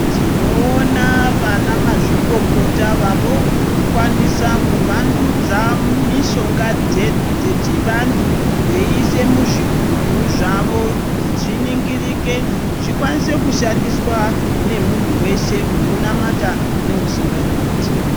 Tinoona vanamazvikokota vave kukwanisa kuvandudza mishonga dzedu dzechivantu veiise muzvigubhu zvavo kuti zviningirike zvikwanise kushandiswa nomuntu wese unonamata neusinganamati.